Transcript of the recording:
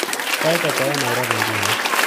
Sait ata eng Nairobi nguno